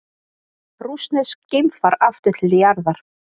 Rússneskt geimfar aftur til jarðar